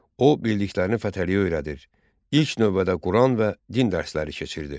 O bildiklərini Fətəliyə öyrədir, ilk növbədə Quran və din dərsləri keçirdi.